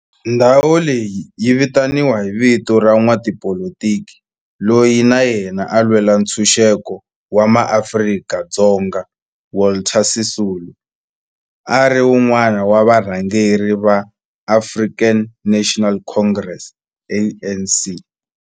Ndhawo leyi yi vitaniwa hi vito ra n'watipolitiki loyi na yena a lwela ntshuxeko wa maAfrika-Dzonga Walter Sisulu, a ri wun'wana wa varhangeri va African National Congress, ANC.